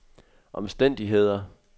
omstændigheder